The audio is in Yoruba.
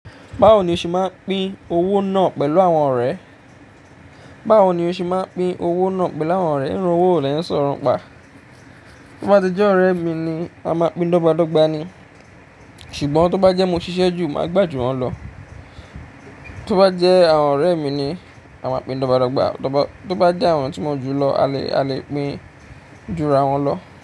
Báwo ni o ṣe máa ń pín owó náà pẹ̀lú àwọn ọ̀rẹ́? Báwo ni o ṣe máa ń pín owó náà pẹ̀lú àwọn ọ̀rẹ́? Irú owó lẹ ń sọrọ̀ pa. Tí ó bá ti jẹ́ ọ̀rẹ́ mi ni, a máa pín dọ́gba dọ́gba ni. Ṣùgbọ́n tí ó bá jẹ́ mo ṣiṣẹ́ jù, màá gbà ju wọ́n lọ. Tí ó bá jẹ́ àwọn ọ̀rẹ́ mi ni, a máa pín dọ́gba dọ́gba. Tí ó bá jẹ́ àwọn tí mo jù lọ, a le, a le pín jura wọn lọ.